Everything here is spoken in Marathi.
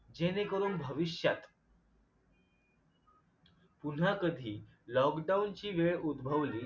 जेणेकरून भविष्यात पुन्हा कधी lockdown ची वेळ उदभवली